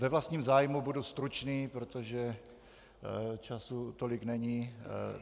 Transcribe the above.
Ve vlastním zájmu budu stručný, protože času tolik není.